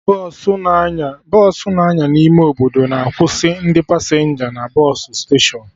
Bọsụ na-anya n'ime obodo na akwụsị ndị pasenja na bọsụ steshọnụ